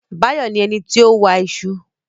Báyọ̀ ní ẹnití ó wa iṣu